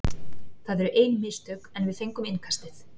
Það eru ein mistök, en við fengum innkastið.